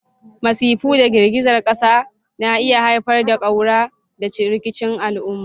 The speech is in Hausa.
Masifu da girgizar ƙasa na iya haifar da ƙaura da rikicin al'umma.